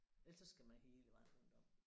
Ellers så skal man hele vejen rundt om